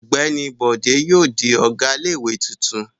Ọ̀gbẹ́ni Bọ̀dé yóò di ọ̀gá ilé-ìwé tuntun.